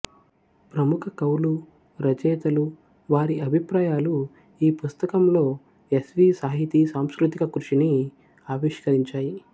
ప్రముఖ కవులు రచయితలు వారి అభిప్రాయాలు ఈ పుస్తకంలో ఎస్వీ సాహితీ సాంస్కృతిక కృషిని అవిష్కరించాయి